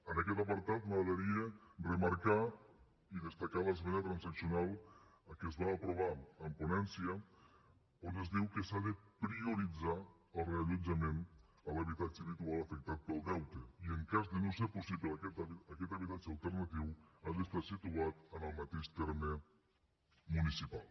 en aquest apartat m’agradaria remarcar i destacar l’esmena transaccional que es va aprovar en ponència on es diu que s’ha de prioritzar el reallotjament a l’habitatge habitual afectat pel deute i en cas de no ser possible aquest habitatge alternatiu ha d’estar situat en el mateix terme municipal